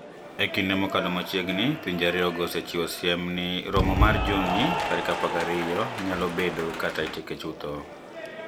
E kinide mokalo machiegnii, pinije ariyogo osechiwo siem nii romo mar Juni 12 niyalo bedokata itieke chutho